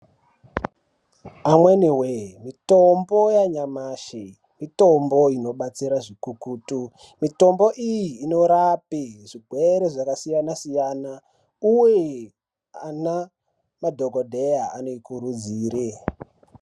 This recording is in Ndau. Amweni vee mitombo yanyamashi mitombo inobatsira zvikukutu mitombo iyi inorape zvigwere zvakasiyana-siyana, uye ana madhogodheya anoikurudzire